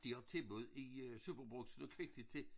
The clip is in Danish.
De har tilbud i øh Superbrugsen og Kvikly til